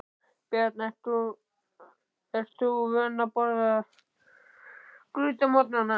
Björn: Ert þú vön því að borða graut á morgnanna?